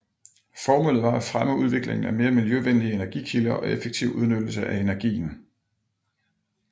Formålet var at fremme udviklingen af mere miljøvenlige energikilder og effektiv udnyttelse af energien